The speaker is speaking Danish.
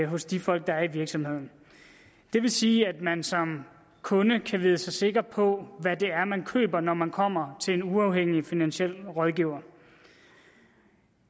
hos de folk der er i virksomheden det vil sige at man som kunde kan vide sig sikker på hvad det er man køber når man kommer til en uafhængig finansiel rådgiver